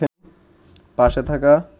পাশে থাকা